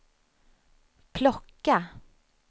plocka